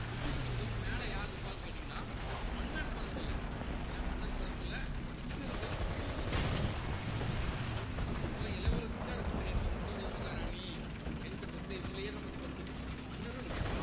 பிரிட்டிஷை பொறுத்தவரைக்கும் மேல யார் இருப்பாருன்னு கேட்டீங்கன்னா மன்னர் பரம்பரையில ஏன்னா மன்னர் பரம்பரையில king இருக்கலாம் queen உம் இருக்கலாம் actual ஆ இளவரசிதான் இருக்கணும்னு கிடையாது நம்ம விக்டோரியா மகாராணி, எலிசபெத்து இவங்களையேதான் பத்தி படிச்சிட்டு இருப்போம் மன்னரும் இருக்கலாம்